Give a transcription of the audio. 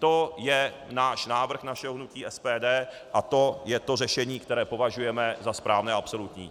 To je náš návrh našeho hnutí SPD a to je to řešení, které považujeme za správné a absolutní.